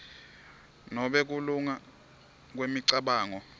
nobe kulunga kwemicabango